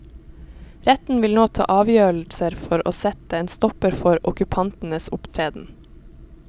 Retten vil nå ta avgjørelser for å sette en stopper for okkupantenes opptreden.